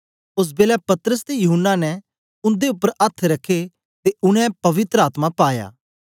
ओस बेलै पतरस ते यूहन्ना ने उंदे उपर अथ्थ रखे ते उनै पवित्र आत्मा पाया